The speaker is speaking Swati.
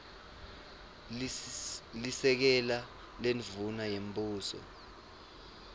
lisekela lendvuna yembuso